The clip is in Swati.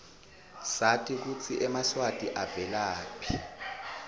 sati kutsi emaswati avelaphi